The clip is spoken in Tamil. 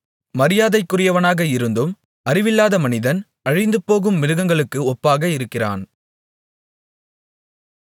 மரியாதைக்குரியவனாக இருந்தும் அறிவில்லாத மனிதன் அழிந்துபோகும் மிருகங்களுக்கு ஒப்பாக இருக்கிறான்